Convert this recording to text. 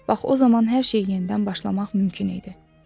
Bax o zaman hər şey yenidən başlamaq mümkün idi.